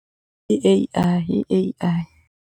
I A_I, i A_I.